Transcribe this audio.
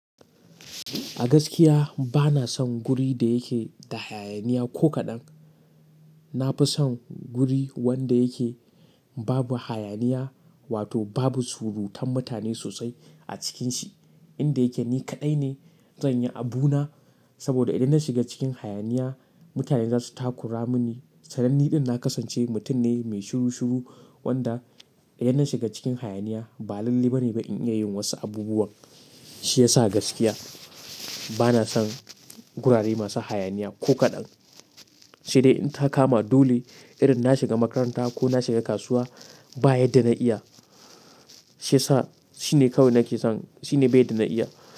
A gaskiya bana son guri da yake da hayaniya ko kaɗan. Na fi son guri wanda yake babu hayaniya wato babu surutan mutane sosai a cikin shi. Inda yake ni kaɗai ne zan yi abu na. Saboda idan na shiga cikin hayaniya, mutane za su takura mini. Sananni ɗin na kasance mutum ne mai shiru shiru, wanda idan na shiga cikin hayaniya, ba lalle ba ne ba in iya yin wasu abubuwan. Shi ya sa a gaskiya bana son gurare masu hayaniya ko kaɗan. Sai dai in ta kama dole, idan na shiga makaranta ko na shiga kasuwa ba ya de na iya. Shi ya sa shine kawai nake son, shine bai da na iya.